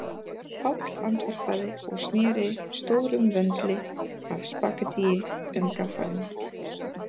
Páll andvarpaði og sneri stórum vöndli af spaghettíi um gaffalinn